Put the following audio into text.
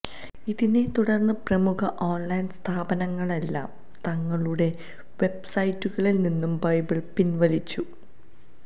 ഇതിനെത്തുടര്ന്ന് പ്രമുഖ ഓണ്ലൈന് സ്ഥാപനങ്ങളെല്ലാം തങ്ങളുടെ വെബ്സൈറ്റുകളില്നിന്ന് ബൈബിള് പിന്വലിച്ചു